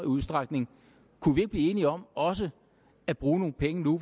udstrækning kunne vi ikke blive enige om også at bruge nogle penge når